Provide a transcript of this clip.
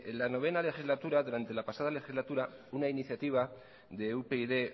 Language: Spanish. la noveno legislatura durante la pasada legislatura una iniciativa de upyd